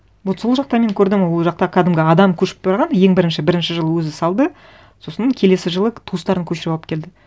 вот сол жақта мен көрдім ол жақта кәдімгі адам көшіп барған ең бірінші бірінші жылы өзі салды сосын келесі жылы туыстарын көшіріп алып келді